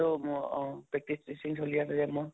তো ম অহ practice session চলি আছে যে মোৰ